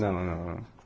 Não, não não.